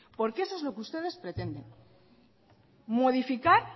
porque eso es lo que ustedes pretenden modificar